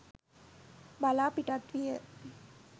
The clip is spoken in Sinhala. බලා පිටත් විය